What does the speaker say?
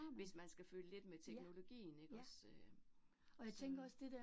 Hvis man skal følge lidt med teknologien ikke også øh så